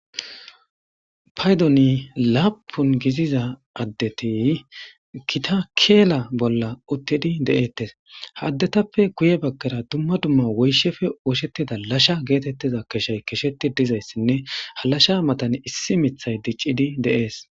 Paydon lapun gidiza adeti gita Kela bola utidi de'etesha adetape guye bagara dumma dumma woyshape osetiza lasha getetiza keshay kesheti dizaysine ha lasha mata issi mithay de'es